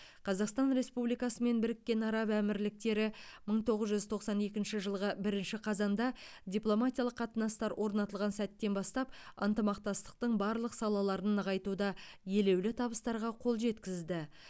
қазақстан республикасы мен біріккен араб әмірліктері мың тоғыз жүз тоқсан екінші жылғы бірінші қазанда дипломатиялық қатынастар орнатылған сәттен бастап ынтымақтастықтың барлық салаларын нығайтуда елеулі табыстарға қол жеткізді